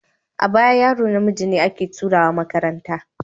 A baya yaro namiji ne ake turawa makaranta.